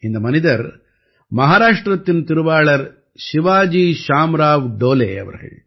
இந்த மனிதர் மஹாராஷ்டிரத்தின் திருவாளர் சிவாஜி ஷாம்ராவ் டோலே அவர்கள்